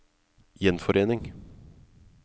gjenforening